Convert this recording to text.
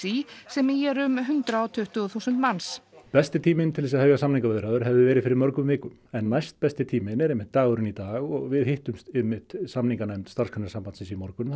í sem í eru um hundrað og tuttugu þúsund manns besti tíminn til þess að hefja samningaviðræður hefði verið fyrir mörgum vikum en næstbesti tíminn er einmitt dagurinn í dag og við hittumst einmitt samninganefnd Starfsgreinasambandsins í morgun